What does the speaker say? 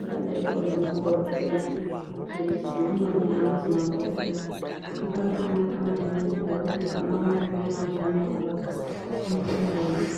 akadaiko ngemaBhurufeni mapirizi amweni anozi maBhurufeni akabaanaka maningi ngekuti ukamamwa zviyani unemarwadzo unotopona.